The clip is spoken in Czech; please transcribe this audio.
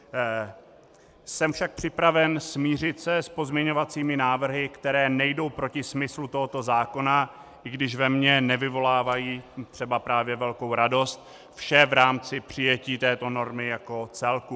Jsem však připraven se smířit s pozměňovacími návrhy, které nejdou proti smyslu tohoto zákona, i když ve mně nevyvolávají třeba právě velkou radost, vše v rámci přijetí této normy jako celku.